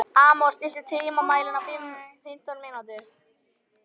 Amor, stilltu tímamælinn á fimmtán mínútur.